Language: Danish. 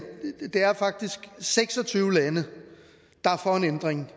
det er faktisk seks og tyve lande der er for en ændring